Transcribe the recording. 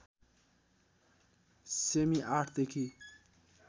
सेमि ८ देखि